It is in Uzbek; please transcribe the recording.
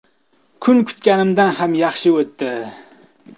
Kun kutganimdan ham yaxshi o‘tdi.